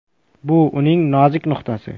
Bu uning nozik nuqtasi.